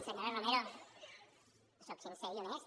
senyora romero sóc sincer i honest